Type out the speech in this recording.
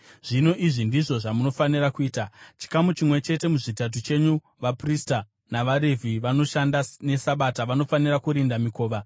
Zvino izvi ndizvo zvamunofanira kuita: Chikamu chimwe chete muzvitatu chenyu vaprista navaRevhi vanoshanda neSabata vanofanira kurinda mikova,